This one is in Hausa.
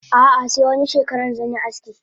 Ah ah se wani shekaran zanyi aski.